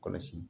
Kɔlɔsi